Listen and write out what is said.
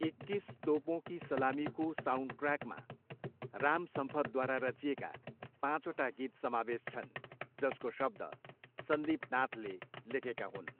एक्किस तोपों की सलामीको साउन्डट्र्याकमा राम सम्पथद्वारा रचिएका पाँचवटा गीत समावेश छन्, जसको शब्द सन्दिप नाथले लेखेका हुन्।